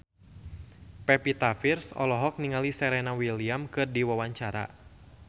Pevita Pearce olohok ningali Serena Williams keur diwawancara